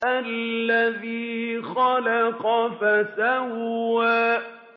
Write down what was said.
الَّذِي خَلَقَ فَسَوَّىٰ